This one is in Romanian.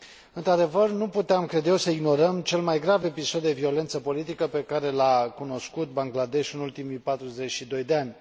Într adevăr, nu puteam, cred eu, să ignorăm cel mai grav episod de violență politică pe care l a cunoscut Bangladeshul în ultimii 42 de ani.